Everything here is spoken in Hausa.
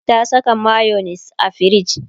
ta Saka mayonis a firij